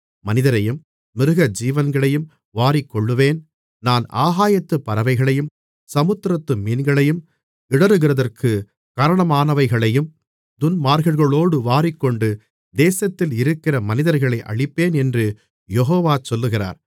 மனிதரையும் மிருகஜீவன்களையும் வாரிக்கொள்ளுவேன் நான் ஆகாயத்துப் பறவைகளையும் சமுத்திரத்து மீன்களையும் இடறுகிறதற்கு காரணமானவைகளையும் துன்மார்க்கர்களோடு வாரிக்கொண்டு தேசத்தில் இருக்கிற மனிதர்களை அழிப்பேன் என்று யெகோவா சொல்லுகிறார்